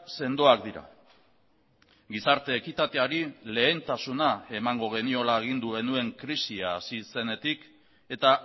sendoak dira gizarte ekitateari lehentasuna emango geniola agindu genuen krisia hasi zenetik eta